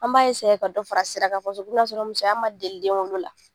An b'a ka dɔ fara sira kan ka sɔrɔ musoya ma deli denwolo la.